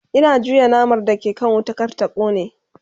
Ina juya naman da ke kan wuta kar ta kone